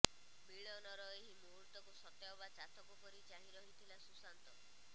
ମିଳନର ଏହି ମୁହୂର୍ତ୍ତକୁ ସତେ ଅବା ଚାତକ ପରି ଚାହିଁ ରହିଥିଲା ସୁଶାନ୍ତ